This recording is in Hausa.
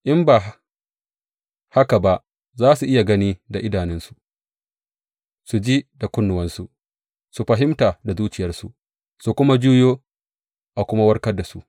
In ba haka ba za su iya gani da idanunsu, su ji da kunnuwansu, su fahimta da zuciyarsu, su kuma juyo a kuma warkar da su.